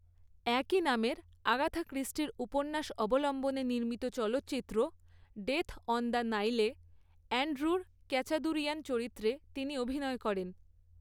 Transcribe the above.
একই নামের আগাথা ক্রিস্টির উপন্যাস অবলম্বনে নির্মিত চলচ্চিত্র ডেথ অন দ্য নাইলে অ্যান্ড্রু ক্যাচাদুরিয়ান চরিত্রে তিনি অভিনয় করেন।